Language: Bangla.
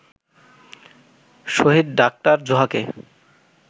শহীদ ডা. জোহাকে